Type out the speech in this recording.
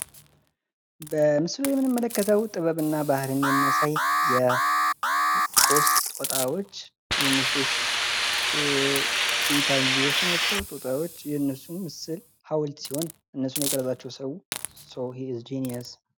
በምስሉ ላይ የምንመለከተው ጥበብና ባህልን የሚያሳይ የሶስት ጦጣዎች ወይም የሶስት ቺምፓንዚዎች ናቸው። ጦጣዎች የነሱን ምስል ሀውልት ሲሆን እነሱን የቀረጻቸው ሰው ሶ ሂ ኢዝ ጂኒየስ።